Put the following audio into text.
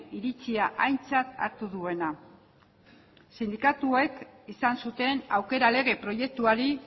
iritzia aintzat hartu duena sindikatuek izan zuten aukera lege proiektuari